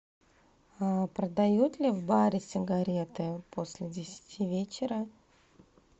продают ли в баре сигареты после десяти вечера